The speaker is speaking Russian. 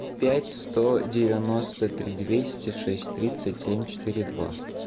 пять сто девяносто три двести шесть тридцать семь четыре два